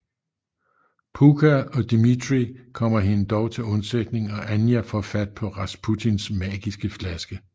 Pooka og Dimitri kommer hende dog til undsætning og Anya får fat på Rasputins magiske flaske